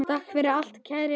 Takk fyrir allt, kæru vinir!